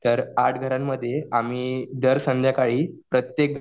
तर आठ घरामध्ये आम्ही दर संध्याकाळी प्रत्येक